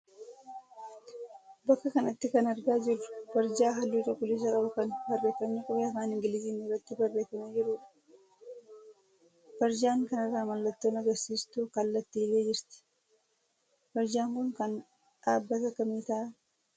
Bakka kanatti kan argaa jirru barjaa halluu cuquliisa qabu kan barreeffamni qubee afaan Ingiliziin irratti barreeffamee jiruudha. Barjaan kanarra mallattoon agarsiistuu kallattii illee jirti. Barjaan kun kan dhaabbata kamii ta'a?